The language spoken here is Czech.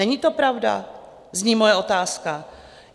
Není to pravda? zní moje otázka.